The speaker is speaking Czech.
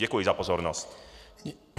Děkuji za pozornost.